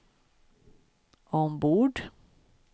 ombord